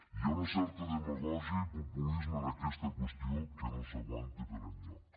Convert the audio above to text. hi ha una certa demagògia i populisme en aquesta qüestió que no s’aguanta per enlloc